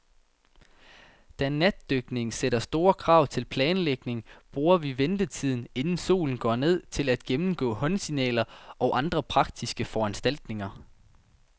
Da natdykning sætter store krav til planlægning, bruger vi ventetiden, inden solen går ned, til at gennemgå håndsignaler og andre praktiske foranstaltninger.